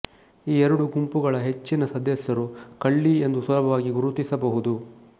ಈ ಎರಡು ಗುಂಪುಗಳ ಹೆಚ್ಚಿನ ಸದಸ್ಯರು ಕಳ್ಳಿ ಎಂದು ಸುಲಭವಾಗಿ ಗುರುತಿಸಬಹುದು